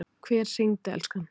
Hver hringdi, elskan?